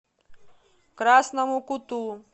красному куту